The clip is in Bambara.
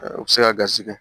U bɛ se ka garisɛgɛ